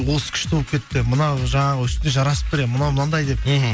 осы күшті болып кетіпті мына жаңағы үстіне жарасып тұр е мынау мынандай деп мхм